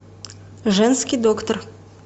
женский доктор